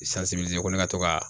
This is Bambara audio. ko ne ka to ka